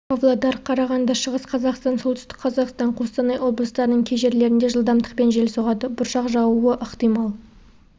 павлодар қарағанды шығыс қазақстан солтүстік қазақстан қостанай облыстарының кей жерлерінде жылдамдықпен жел соғады бұршақ жаууы ықтимал